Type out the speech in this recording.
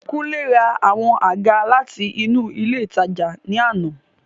Kunle ra àwọn àga láti inú ilé ìtajà ní àná.